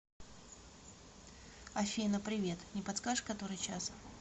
афина привет не подскажешь который час